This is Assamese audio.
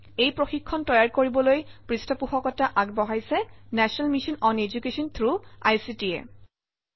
এই প্ৰশিক্ষণ তৈয়াৰ কৰিবলৈ পৃষ্ঠপোষকতা আগবঢ়াইছে National Mission on Education through ICT A